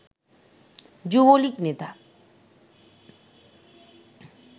যুবলীগ নেতা